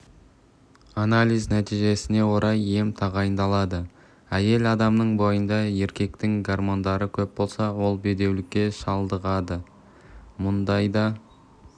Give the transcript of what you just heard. анализ нәтижесіне орай ем тағайындалады әйел адамның бойында еркектің гормондары көп болса ол бедеулікке шалдығады мұндайда